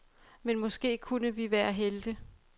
Men måske kunne vi være helte.